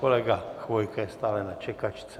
Kolega Chvojka je stále na čekačce.